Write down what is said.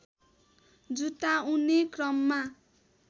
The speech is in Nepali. जुटाउने क्रममा